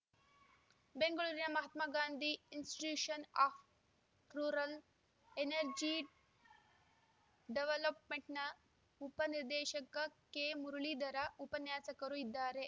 ಬೆಂಗಳೂರಿನ Mahatma Gandhi institute of rural energy ಡೆವಲಪ್‌ಮೆಂಟ್‌ನ ಉಪ ನಿರ್ದೇಶಕ ಕೆಮುರಳಿಧರ ಉಪನ್ಯಾಸಕರು ಇದ್ದಾರೆ